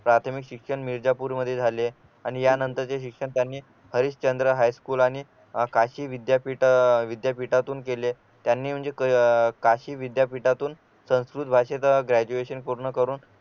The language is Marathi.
प्राथमिक शिक्षण मिर्जापुर मध्ये झाले आणि यानंतरचे शिक्षकांनी हरिश्चंद्र हायस्कूल आणि काशी विद्यापीठ अह विद्यापीठातून केले त्यांनी म्हणजे अह काशी विद्यापीठातून संस्कृत भाषेच ग्रॅज्युएशन पूर्ण करून